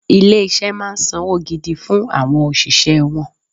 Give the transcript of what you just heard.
Ilé-iṣẹ́ máa ń sanwó gidi fún àwọn òṣìṣẹ́ wọn